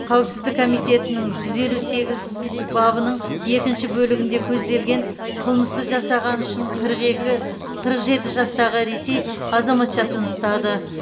қауіпсіздік комитетінің жүз елу сегізі бабының екінші бөлігінде көзделген қылмысты жасағаны үшін қырық жеті жастағы ресей азаматшасын ұстады